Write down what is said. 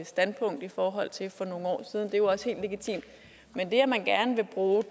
standpunkt i forhold til for nogle år siden og jo også helt legitimt men det at man gerne vil bruge